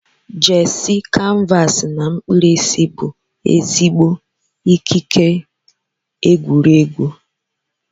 jersey, canvas na mkpirisi bụ ezigbo ekike egwuregwu.